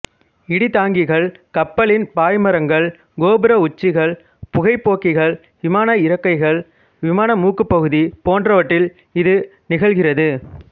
இடிதாங்கிகள் கப்பலின் பாய்மரங்கள் கோபுர உச்சிகள் புகைப்போக்கிகள் விமான இறக்கைகள் விமான மூக்குப்பகுதி போன்றவற்றில் இது நிகழ்கிறது